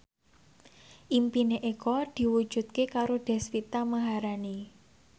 impine Eko diwujudke karo Deswita Maharani